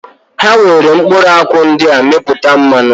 Ha nwere mkpụrụakwụ ndị a mepụta mmanụ